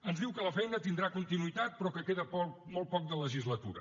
ens diu que la feina tindrà continuïtat però que queda molt poc de legislatura